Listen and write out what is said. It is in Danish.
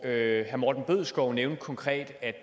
herre morten bødskov nævnte konkret